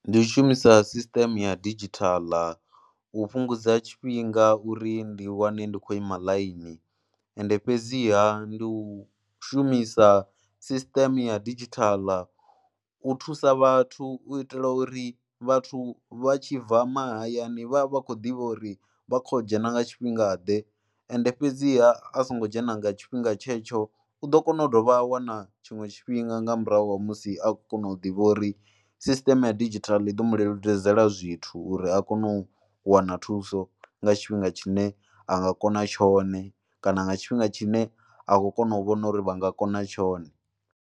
Ndi u shumisa sisiṱeme ya didzhithala u fhungudza tshifhinga uri ndi wane ndi khou ima ḽaini ende fhedziha ndi u shumisa sisiṱeme ya didzhithala u thusa vhathu u itela uri vhathu vha tshi bva mahayani vha vha khou ḓivha uri vha khou dzhena nga tshifhingaḓe. Ende fhedziha a songo dzhena nga tshifhinga tshetsho u ḓo kona u dovha a wana tshiṅwe tshifhinga nga murahu ha musi a kona u ḓivha uri sisiṱeme ya didzhithala i ḓo mu leludzela zwithu uri a kone u wana thuso nga tshifhinga tshine a nga kona tshone kana nga tshifhinga tshine a khou kona u vhona uri vha nga kona tshone.